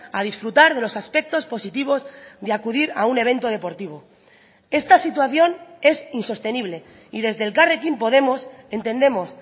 a disfrutar de los aspectos positivos de acudir a un evento deportivo esta situación es insostenible y desde elkarrekin podemos entendemos